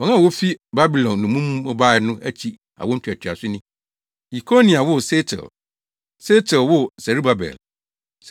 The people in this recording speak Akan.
Wɔn a wofi Babilon nnommum mu bae no akyi awo ntoatoaso ni: Yekonia woo Sealtiel, Sealtiel woo Serubabel.